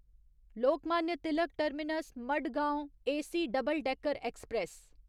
Lokmanya Tilak terminus Madgaon AC double decker express